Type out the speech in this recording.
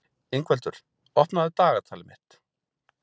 Ingveldur, opnaðu dagatalið mitt.